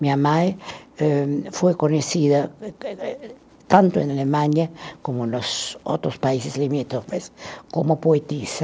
Minha mãe, eh, foi conhecida tanto em Alemanha como nos outros países limítrofes como poetisa.